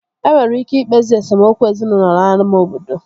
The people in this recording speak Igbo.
E nwere ike ikpezi esemokwu ezinaụlọ n'ámá obodo